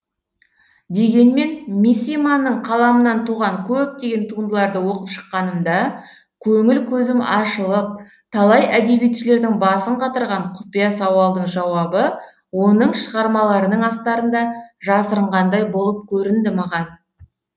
дегенмен мисиманың қаламынан туған көптеген туындыларды оқып шыққанымда көңіл көзім ашылып талай әдебиетшілердің басын қатырған құпия сауалдың жауабы оның шығармаларының астарында жасырынғандай болып көрінді маған